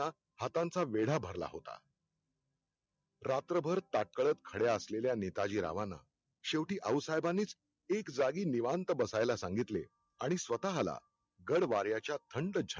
हातांचा मेढा भरला होता रात्रभर ताटकळत खडे असलेल्या नेताजी रावाना शेवटी आऊसाहेबानीच एक जागी निवांत बसायला सांगितले आणि स्वताला गडवार्याच्या थंड